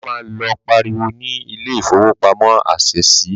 Bàbá má lọ pariwo ni ilé ìfowópamọ́ Ásẹ̀sì